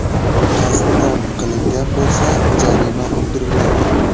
Qasddan qilingan bo‘lsa, jarima undiriladi.